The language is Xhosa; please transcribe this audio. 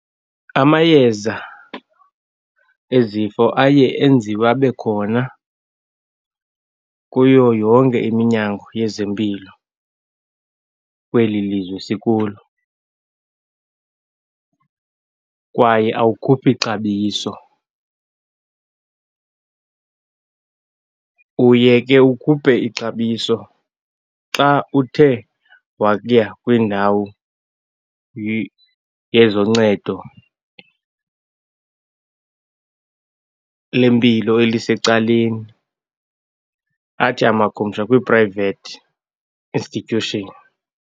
Amayeza ezifo aye enziwe abe khona kuyo yonke iminyango yezempilo kweli lizwe sikulo kwaye awukhuphi xabiso. Uye ke ukhuphe ixabiso xa uthe waya kwindawo yezoncedo lempilo elisecaleni, athi amakhumsha kwi-private institution.